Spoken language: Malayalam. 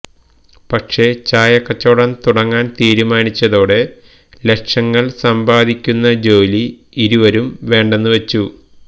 പക്ഷേ ചായ കച്ചവടം തുടങ്ങാൻ തീരുമാനിച്ചതോടെ ലക്ഷങ്ങൾ സമ്പാദിക്കുന്ന ജോലി ഇരുവരും വേണ്ടെന്നു വച്ചു